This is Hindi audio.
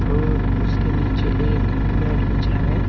और उसके नीचे एक मैट बिछा है।